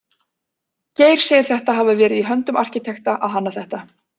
Geir segir þetta hafa verið í höndum arkitekta að hanna þetta.